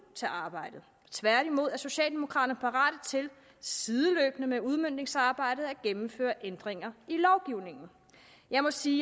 til arbejdet tværtimod er socialdemokraterne parate til sideløbende med udmøntningsarbejdet at gennemføre ændringer i lovgivningen jeg må sige